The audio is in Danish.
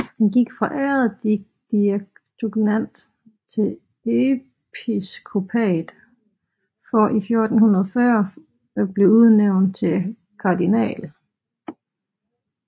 Han gik fra ærkediakonat til episkopat for i 1440 at blive udnævnt til kardinal